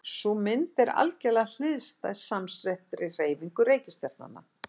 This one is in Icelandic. Sú mynd er algerlega hliðstæð samsettri hreyfingu reikistjarnanna.